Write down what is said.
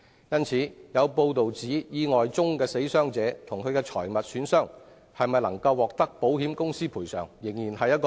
因此，有報道指意外中的死傷者及其財物損失未必獲得保險公司賠償。